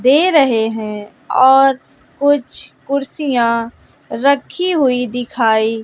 दे रहे हैं और कुछ कुर्सियां रखी हुई दिखाई--